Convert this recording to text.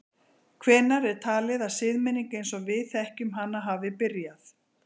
Hvenær er talið að siðmenning eins og við þekkjum hana hafi byrjað?